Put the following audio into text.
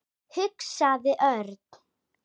hugsaði Örn.